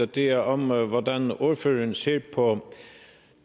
det er om hvordan ordføreren ser på